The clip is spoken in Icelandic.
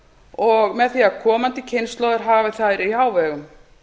og með því að komandi kynslóðir hafi þær í hávegum